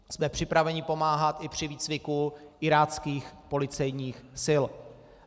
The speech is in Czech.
Jsme připraveni pomáhat i při výcviku iráckých policejních sil.